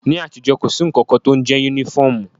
Ní àtijọ́, kò sí nnkan kan tó ń jẹ yúnífọ̀mù